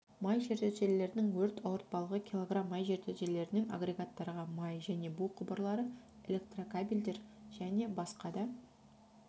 май жертөлелерінің өрт ауыртпалығы килограмм май жертөлелерінен агрегаттарға май және бу құбырлары электрокабельдер және басқа да